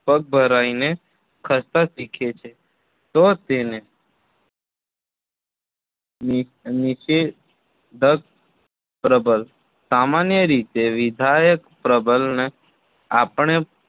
પગ ભરાઈને ખસતા શીખે છે તો તેને નિષેધક પ્રબલન સામાન્ય રીતે વિધાયક પ્રબલનને આપણે